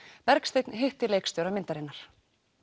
Bergsteinn hitti leikstjóra myndarinnar